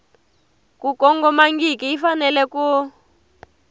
ku kongomangiki yi fanele ku